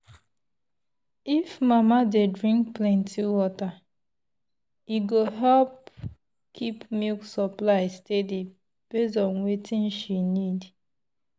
if mama dey drink plenty water e go help keep milk supply steady based on wetin she need.